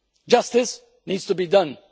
Justice needs to be done.